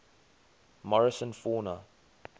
morrison fauna